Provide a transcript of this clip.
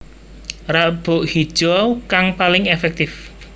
Rabuk Hijau kang paling èfèktif